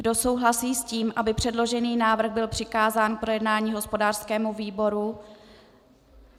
Kdo souhlasí s tím, aby předložený návrh byl přikázán k projednání hospodářskému výboru?